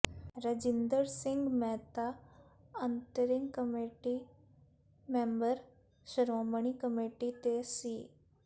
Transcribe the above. ਰਜਿੰਦਰ ਸਿੰਘ ਮਹਿਤਾ ਅੰਤ੍ਰਿੰਗ committee member Shiromani committee ਤੇ ਸ